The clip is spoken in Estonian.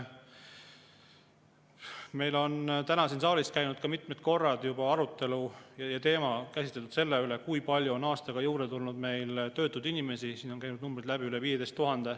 Meil on täna siin saalis juba mitu korda olnud arutelu selle üle, kui palju on meil aastaga juurde tulnud töötuid inimesi, siin on käinud läbi arv üle 15 000.